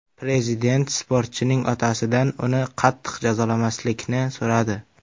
Prezident sportchining otasidan uni qattiq jazolamaslikni so‘radi .